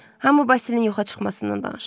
Hamı Bazenin yoxa çıxmasından danışır.